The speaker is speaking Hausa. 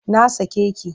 Na sake ki!